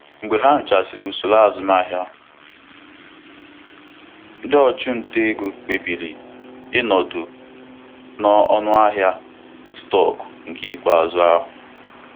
Onye ọchụnta ego ahụ kwụsịrị ịzụrụ stọkụ Apple ruo mgbe ahịa ahụ dara n'okpuru ọnụahịa ikpeazụ ya.